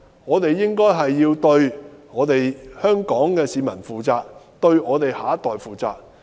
我們應該要對香港市民負責，對我們的下一代負責。